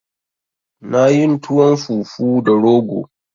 Na yin tuwon fufu da rogo